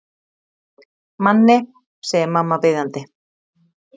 Manni, segir mamma biðjandi.